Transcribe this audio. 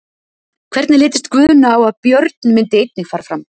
Hvernig litist Guðna á að Björn myndi einnig fara fram?